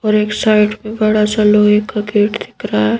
और एक साइड में बड़ा सा लोहे का गेट दिख रहा है।